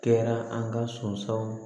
Kɛra an ka sɔnsɔnw